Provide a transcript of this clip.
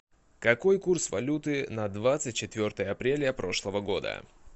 какой курс валюты на двадцать четвертое апреля прошлого года